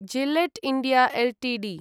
Gillette India Ltd